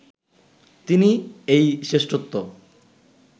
তিনি এই শ্রেষ্ঠত্ব